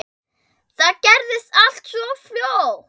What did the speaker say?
Það gerðist allt svo fljótt.